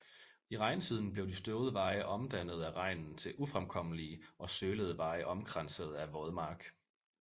I regntiden blev de støvede veje omdannede af regnen til ufremkommelige og sølede veje omkransede af vådmark